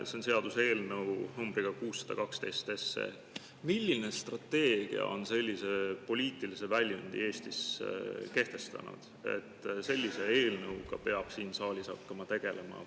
See on seaduseelnõu numbriga 612. Milline strateegia on sellise poliitilise väljundi Eestis kehtestanud, et sellise eelnõuga peab siin saalis hakkama tegelema?